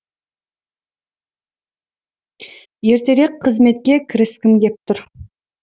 ертерек қызметке кіріскім кеп тұр